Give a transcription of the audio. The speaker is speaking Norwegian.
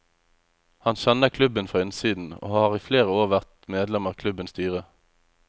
Han kjenner klubben fra innsiden, og har i flere år vært medlem av klubbens styre.